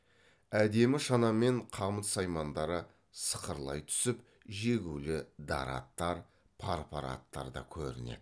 әдемі шана мен қамыт саймандары сықырлай түсіп жегулі дара аттар пар пар аттар да көрінеді